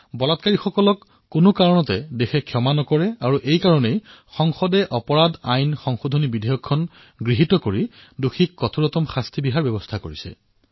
বলাৎকাৰীসকলৰ দোষ সহ্য কৰিবলৈ দেশ প্ৰস্তুত নহয় সেয়ে সংসদে অপৰাধী আইন সংশোধন বিধেয়কক গৃহীত কৰি কঠোৰতম শাস্তি প্ৰদানৰ ব্যৱস্থা কৰিছে